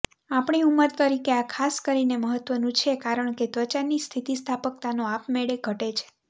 આપણી ઉંમર તરીકે આ ખાસ કરીને મહત્વનું છે કારણ કે ત્વચાની સ્થિતિસ્થાપકતાનો આપમેળે ઘટે છે